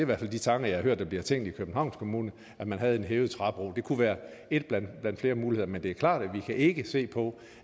hvert fald de tanker jeg har hørt der bliver tænkt i københavns kommune at man havde en hævet træbro det kunne være en blandt flere muligheder men det er klart at vi ikke kan se på